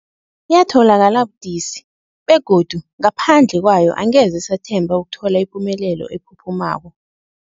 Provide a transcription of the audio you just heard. Yatholakala budisi, begodu ngaphandle kwayo angeze sathemba ukuthola ipumelelo ephuphumako.